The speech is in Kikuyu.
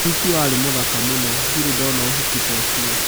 Ũhiki warĩ mũthaka mũno. Ndire ndona ũhiki ta ũcio.